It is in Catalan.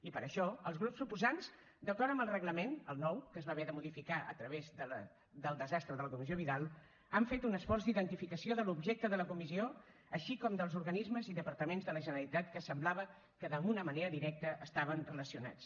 i per això els grups proposants d’acord amb el reglament el nou que es va haver de modificar a través del desastre de la comissió vidal han fet un esforç d’identificació de l’objecte de la comissió així com dels organismes i departaments de la generalitat que semblava que d’una manera directa estaven relacionats